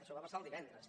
això va passar divendres